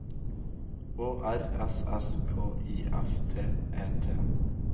Å R S S K I F T E T